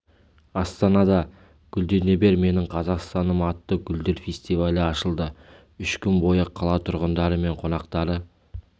астанада гүлдене бер менің қазақстаным атты гүлдер фестивалі ашылды үш күн бойы қала тұрғындары мен қонақтары